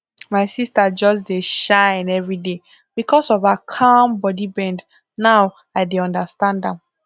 my sister just dey shine everyday because of her calm body bend now i dey understand am